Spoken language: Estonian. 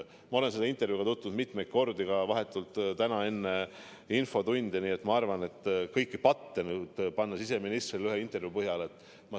Ma olen selle intervjuuga tutvunud mitmeid kordi, ka täna vahetult enne infotundi, ja ma arvan, et ei saa ka kõiki patte panna siseministri kaela ühe intervjuu põhjal.